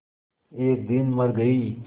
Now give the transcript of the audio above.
एक दिन मर गई